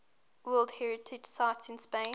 world heritage sites in spain